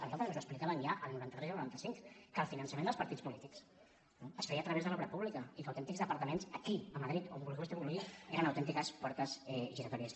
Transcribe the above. a nosaltres ens ho explicaven ja el noranta tres i el noranta cinc que el finançament dels partits polítics es feia a través de l’obra pública i que autèntics departaments aquí a madrid on vostè vulgui eren autèntiques portes giratòries